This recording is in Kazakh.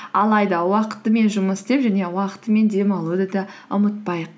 алайда уақытымен жұмыс істеп және уақытымен демалуды да ұмытпайық